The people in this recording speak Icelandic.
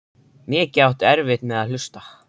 Mikið áttu erfitt með að hlusta.